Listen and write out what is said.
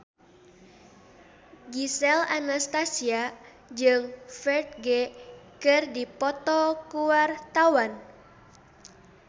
Gisel Anastasia jeung Ferdge keur dipoto ku wartawan